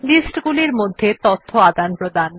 sheet গুলির মধ্যে তথ্য আদানপ্রদান